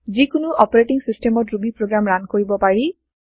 যিকোনো অপাৰেটিং চিচটেমত Ruby program run কৰাব পাৰি